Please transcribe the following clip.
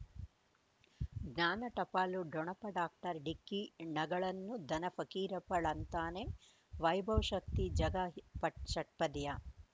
ಜ್ಞಾನ ಟಪಾಲು ಠೊಣಪ ಡಾಕ್ಟರ್ ಢಿಕ್ಕಿ ಣಗಳನು ಧನ ಫಕೀರಪ್ಪ ಳಂತಾನೆ ವೈಭವ್ ಶಕ್ತಿ ಝಗಾ ಪಟ್ ಷಟ್ಪದಿಯ